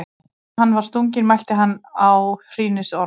Áður en hann var stunginn mælti hann áhrínisorð.